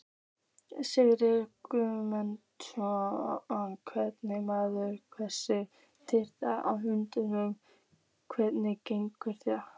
Sigurðar Guðmundssonar hve merkingarmunur þessara tveggja hugtaka getur verið gagnger.